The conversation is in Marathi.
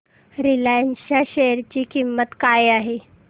रिलायन्स च्या शेअर ची किंमत काय आहे